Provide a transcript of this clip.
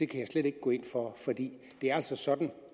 kan jeg slet ikke gå ind for det er altså sådan